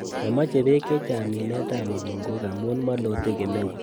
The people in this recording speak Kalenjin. Momoche bek chechang' minetab mukunkok amun molote kemeut.